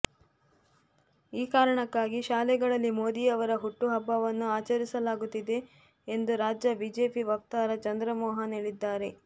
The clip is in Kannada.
ಈ ಕಾರಣಕ್ಕಾಗಿ ಶಾಲೆಗಳಲ್ಲಿ ಮೋದಿಯವರ ಹುಟ್ಟುಹಬ್ಬವನ್ನು ಆಚರಿಸಲಾಗುತ್ತಿದೆ ಎಂದು ರಾಜ್ಯ ಬಿಜೆಪಿ ವಕ್ತಾರ ಚಂದ್ರಮೋಹನ್ ಹೇಳಿದ್ದಾರೆ